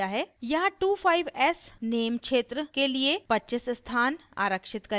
यहाँ 25s name क्षेत्र के लिए 25s स्थान आरक्षित करेगा